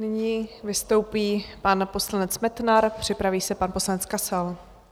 Nyní vystoupí pan poslanec Metnar, připraví se pan poslanec Kasal.